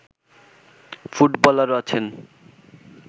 ফুটবলারও আছেন